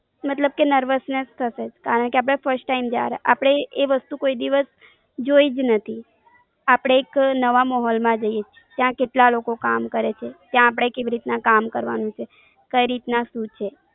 મતલબ કે નર્વસનેસ થશે, કારણ કે આપણે ફર્સ્ટ ટાઈમ, આપણે એ વસ્તુ ક્યારેય જોઈ બી નથી. આપણે એક નવા માહોલ માં જઈએ, ત્યાં કેટલા લોકો કામ કરે, ત્યાં અપને કેવી રીતના કામ કરવાનું છે? કઈ રીતના શું છે?